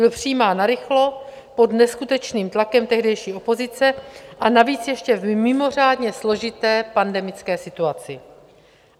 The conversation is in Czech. Byl přijímán narychlo, pod neskutečným tlakem tehdejší opozice, a navíc ještě v mimořádně složité pandemické situaci.